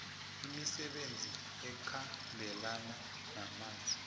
imisebenzi ekhambelana namanzi